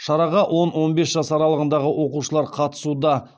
шараға он он бес жас аралығындағы оқушылар қатысуда